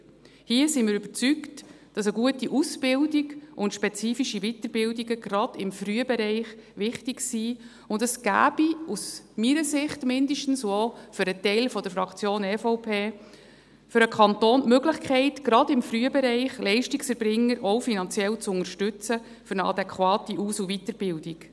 Hier sind wir überzeugt, dass eine gute Ausbildung und spezifische Weiterbildungen gerade im Frühbereich sehr wichtig sind, und es gäbe, zumindest aus meiner Sicht und auch für einen Teil der Fraktion EVP, für den Kanton die Möglichkeit, gerade im Frühbereich Leistungserbringer auch finanziell zu unterstützen für eine adäquate Aus- und Weiterbildung.